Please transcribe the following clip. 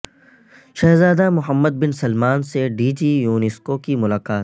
شہزادہ Mohammed bin Salman سے DG UNESCO یونیسکو کی ملاقات